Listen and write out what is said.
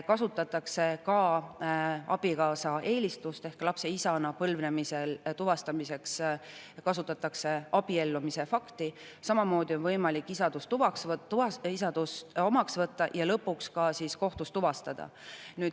Kasutatakse ka abikaasa eelistust ehk lapse põlvnemisel kasutatakse isa tuvastamiseks abiellumise fakti, samamoodi on võimalik isadust omaks võtta ja lõpuks ka kohtus tuvastada.